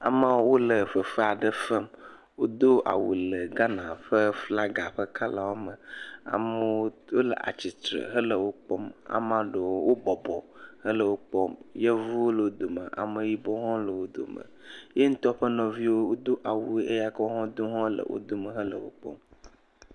Amewo wole fefe aɖe fem wodo awu le Ghana ƒe flaga ƒe kɔlawo me amewo le tsitre hele wokpɔm yevuwo le wo dome ameyibɔwo le wo dome, ye ŋutɔ ƒe nɔviwo wodo awu ʋi eye eya ke wodo ha wole wo dome hel wokpɔm.